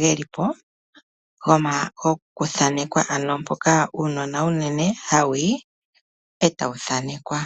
gelipo goku thanekelwa. Mpoka uunona hawu yi unene eta wu thaanekwa.